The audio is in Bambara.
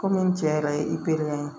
Kɔmi n cɛ yɛrɛ ye ye